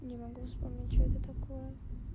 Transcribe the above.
не могу вспомнить что это такое